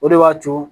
O de b'a to